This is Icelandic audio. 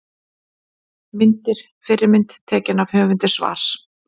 Myndir: Fyrri mynd: Tekin af höfundi svars.